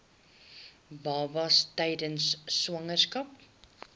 babas tydens swangerskap